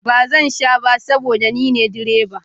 Ba zan sha ba saboda ni ne direba